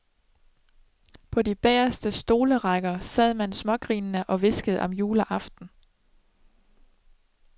På de bageste stolerækker sad man smågrinende og hviskede om juleaften.